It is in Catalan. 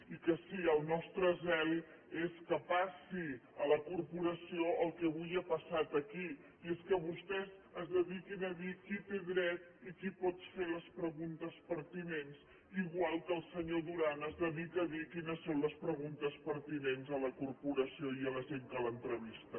i que sí el nostre zel és que passi a la corporació el que avui ha passat aquí i és que vostès es dediquin a dir qui té dret i qui pot fer les preguntes pertinents igual que el senyor duran es dedica a dir quines són les preguntes pertinents a la corporació i a la gent que l’entrevista